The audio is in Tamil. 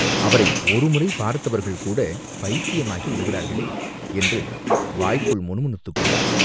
அவரை ஒரு முறை பார்த்தவர்கள்கூடப் பைத்தியமாகி விடுகிறார்களே!" என்று வாய்க்குள் முணுமுணுத்துக் கொண்டார்.